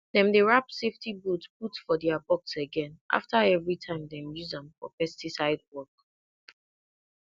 dem dey wrap safety boot put for their box again after every time dem use am for pesticide work